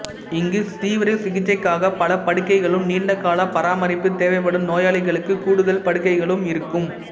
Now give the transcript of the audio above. இங்கு தீவிர சிகிச்சைக்காக பல படுக்கைகளும் நீண்டகால பராமரிப்பு தேவைப்படும் நோயாளிகளுக்கு கூடுதல் படுக்கைகளும் இருக்கும்